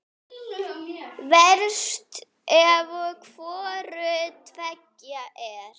Verst ef hvoru tveggja er.